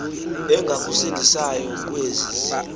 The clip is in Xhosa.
engakusindisayo kwozi zilo